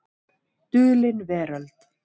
Dulin Veröld.